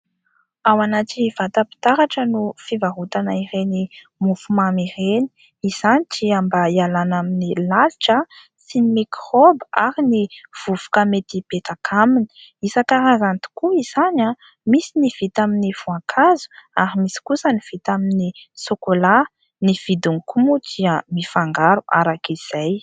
Ao anaty vatam-pitaratra no fivarotana ireny mofomamy ireny. Izany dia mba hialana amin'ny lalitra sy ny mikraoba ary ny vovoka mety hipetraka aminy. Isan-karazany tokoa izany, misy ny misy vita amin'ny voankazo ary misy kosa ny vita amin'ny sôkôla. Ny vidiny koa moa dia mifangaro araka izay.